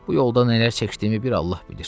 Bu yolda nələr çəkdiyimi bir Allah bilir.